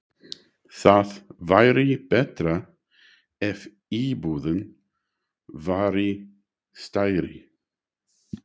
Það væri betra ef íbúðin væri stærri.